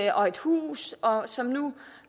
og et hus og som nu